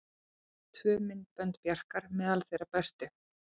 Tvö myndbönd Bjarkar meðal þeirra bestu